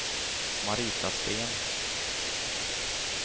Marita Sten